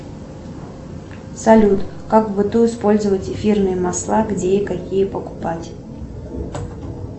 салют как в быту использовать эфирные масла где и какие покупать